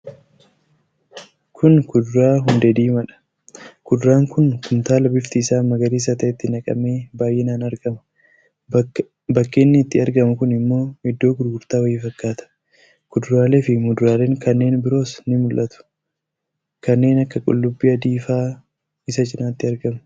Kun kuduraa hundee diimaadha. Kuduraan kun kumtaala bifti isaa magariisa ta'etti naqamee baay'inaan argama. Bakki inni itti argamu kun immoo iddoo gurgurtaa wayii fakkaata. Kuduraalee fi muduraaleen kanneen biroos ni mul'atu kanneen akka qullubbii adiifaa isa cinaatti argamu.